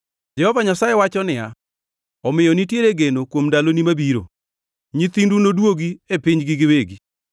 Jehova Nyasaye wacho niya, “Omiyo nitiere geno kuom ndaloni mabiro. Nyithindu nodwogi e pinygi giwegi.